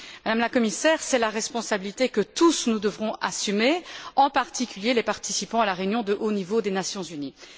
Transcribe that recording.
Madame la Commissaire, c'est la responsabilité que nous devrons tous assumer, en particulier les participants à la réunion de haut niveau des Nations unies.